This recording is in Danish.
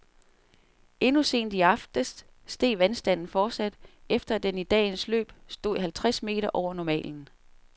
Endnu sent i aftes steg vandstanden fortsat, efter at den i dagens løb stod halvtreds meter over normalen.